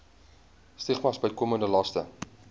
stigmas bykomende laste